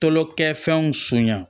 Kolokɛfɛnw suya